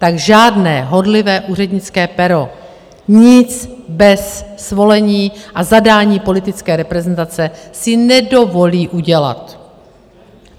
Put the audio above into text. Tak žádné horlivé úřednické pero nic bez svolení a zadání politické reprezentace si nedovolí udělat.